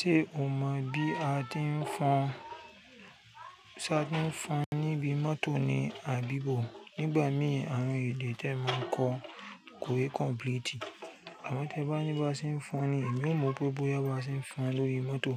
Ṣé o mọ bí a ti ń fọn, ṣa ti ń fọn níbi mọ́tò ni àbí bó? Nígbà mí àrùn èdè tẹ̀ mọ kó kò e complete. Àmọ̀ tẹ bá ní bá ṣì ń fọn ni, èmi ó mọ pé bóyá bá ṣì ń fọn lórí mọ́tò